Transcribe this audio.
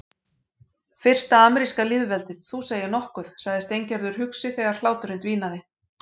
Fyrsta ameríska lýðveldið, þú segir nokkuð sagði Steingerður hugsi þegar hláturinn dvínaði.